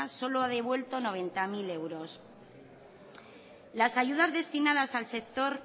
solo ha devuelto noventa mil euros las ayudas destinadas al sector